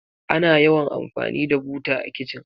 Ana yawan amfani da buta a kitchen.